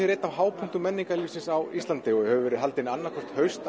er einn af hápunktum menningarlífs á Íslandi og hefur verið haldin annað hvert haust